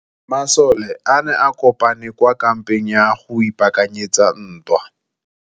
Masole a ne a kopane kwa kampeng go ipaakanyetsa ntwa.